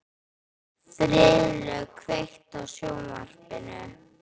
Friðlaug, kveiktu á sjónvarpinu.